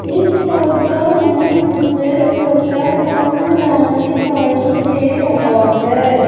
इस फोटो में मुझे छोटा सा मैदान दिखाई दे रहा है।